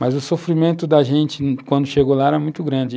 Mas o sofrimento da gente quando chegou lá era muito grande.